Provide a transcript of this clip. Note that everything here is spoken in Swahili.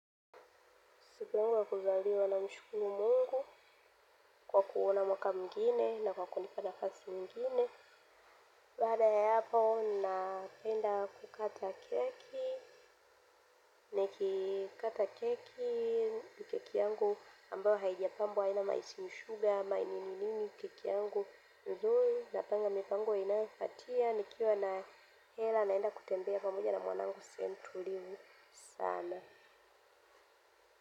Siku yangu ya kuzaliwa, namshukuru Mungu kwa kuona mwaka mwingine na kwa kunipa nafasi nyingine. Baada ya hapo, napenda kukata keki. Nikikata keki, keki yangu ambayo haijapambwa haina mafuta, sukari ama nini nini, keki yangu nzuri. Napanga mipango inayofatia. Nikiwa na hela naenda kutembea kwa mmoja na mwanangu sehemu tulivu sana.